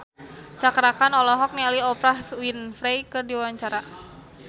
Cakra Khan olohok ningali Oprah Winfrey keur diwawancara